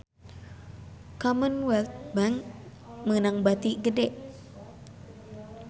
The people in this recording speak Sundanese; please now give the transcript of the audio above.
Commonwealth Bank meunang bati gede